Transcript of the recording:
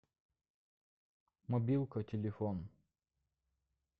мобилка телефон